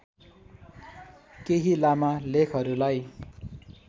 केही लामा लेखहरूलाई